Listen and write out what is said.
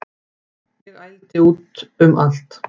Ég ældi út um allt